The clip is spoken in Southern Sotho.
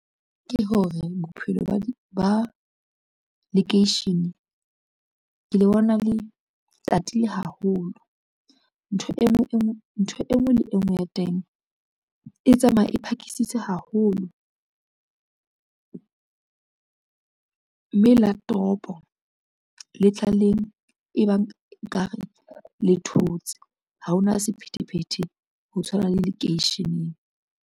Ke hore bophelo ba lekeishene ke le bona, le tatile haholo. Ntho e ngwe le e ngwe ya teng e tsamaya e phakisitse haholo, mme la toropo le tla leng e bang ekare le thotse ha hona sephethephethe ho tshwana le lekeisheneng.